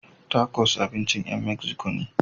Takos abincin ƴan Meziko ne.